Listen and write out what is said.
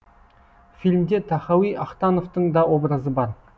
фильмде тахауи ахтановтың та образы бар